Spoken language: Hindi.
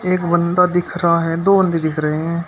एक बंदा दिख रहा है दो बंदे दिख रहे हैं।